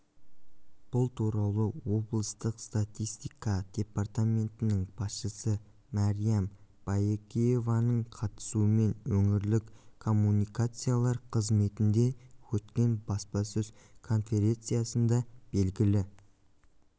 бұл туралы облыстық статистика департаментінің басшысы мариям баекееваның қатысуымен өңірлік коммуникациялар қызметінде өткен баспасөз конференциясында белгілі